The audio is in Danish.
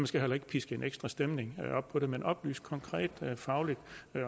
skal heller ikke piske en ekstra stemning op på det men oplyse konkret og fagligt